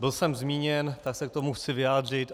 Byl jsem zmíněn, tak se k tomu chci vyjádřit.